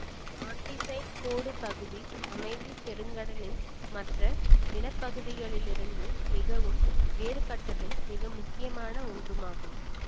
ஆன்டிசைட் கோடு பகுதி அமைதி பெருங்கடலின் மற்ற நிலப்பகுதிகளிலிருந்து மிகவும் வேறுபட்டதும் மிக முக்கியமான ஒன்றுமாகும்